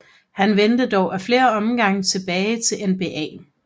Han vendte dog af flere omgange tilbage til NBA